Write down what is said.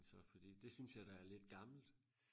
så fordi det synes jeg da er lidt gammelt